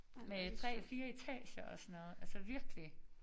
Med 3 4 etager og sådan noget altså virkelig